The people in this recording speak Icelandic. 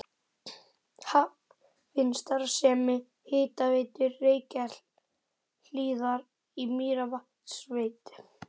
Hafin starfsemi Hitaveitu Reykjahlíðar í Mývatnssveit.